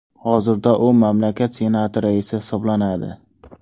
Hozirda u mamlakat Senati raisi hisoblanadi.